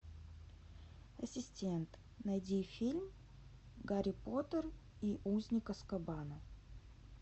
ассистент найди фильм гарри поттер и узник азкабана